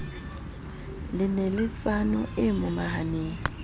le neletsano e momahaneng e